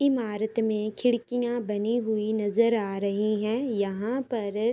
इमारत मे खिड़कियां बनी हुई नजर आ रही हैं। यहाँ पर --